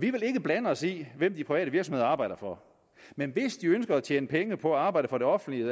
vi vil ikke blande os i hvem de private virksomheder arbejder for men hvis de ønsker at tjene penge på at arbejde for det offentlige